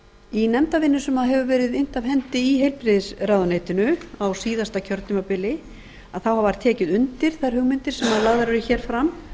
í nefndarvinnu sem hefur verið innt af hendi í heilbrigðisráðuneytisins á síðasta kjörtímabili þá hefur verið tekið undir þessar hugmyndir sem lagðar eru hér fram